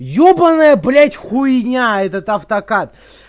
ебанная блять хуйня этот автокат